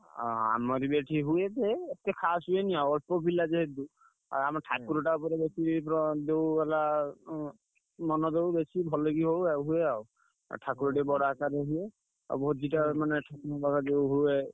ହଁ ଆମର ବି ଏଠି ହୁଏ ଯେ ଏତେ ଖାସ୍ ହୁଏନି ଆଉ ଅଳ୍ପ ପିଲା ଯେହେତୁ। ଆଉ ଆମ ଠାକୁରଟା ଉପରେ ଯେତିକି ଯୋଉ ହେଲା ଉଁ ମନ ଦଉ ବେଶୀ ଭଲ କି ହଉ ଆଉ ସେୟା ଆଉ ଆଉ ଠାକୁର ଟିକେ ବଡ ଆକାରେ ହୁଏ। ଆଉ ଭୋଜିଟା ମାନେ ଯୋଉ ହୁଏ।